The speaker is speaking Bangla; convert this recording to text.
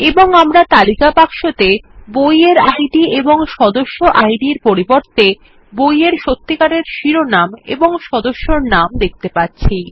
এবং আমরা তালিকা বাক্সতে বই এর ইদ ও সদস্য ID এর পরিবর্তে সত্যিকারের বইয়ের শিরোনাম এবং সদস্যের নাম দেখতে পাচ্ছি